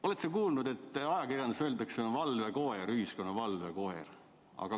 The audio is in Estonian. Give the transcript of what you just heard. Oled sa kuulnud, et ajakirjanduse kohta öeldakse, et ta on valvekoer, ühiskonna valvekoer?